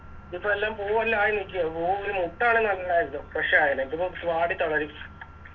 ഇതിപ്പെല്ലാം പൂവെല്ലാം ആയി നിക്ക പൂ ഒരു Fresh ആവില്ല ഇതിപ്പോ വാടി തളരും